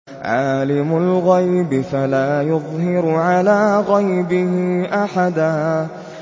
عَالِمُ الْغَيْبِ فَلَا يُظْهِرُ عَلَىٰ غَيْبِهِ أَحَدًا